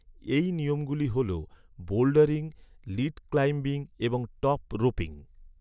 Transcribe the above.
এই নিয়মগুলি হল, বোল্ডারিং, লিড ক্লাইম্বিং এবং টপ রোপিং।